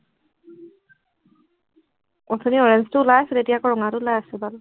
অথনি orange টো ওলাই আছিলে, এতিয়া আকৌ ৰঙাটো ওলাই আছে